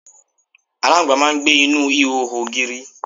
aláǹgbá máà ń gbé inú ihò ògiri